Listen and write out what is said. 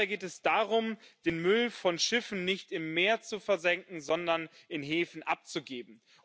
Dabei geht es darum, den Müll von Schiffen nicht im Meer zu versenken, sondern in Häfen abzugeben.